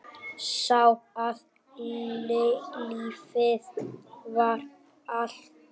Sá að lífið var allt.